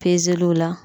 Pezeliw la